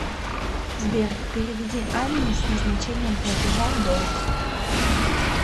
сбер переведи анне с назначением платежа долг